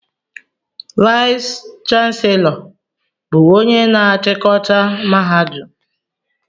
Vayis chansilọ bụ ónyé na-chikọta mahadum.